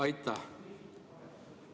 Aitäh!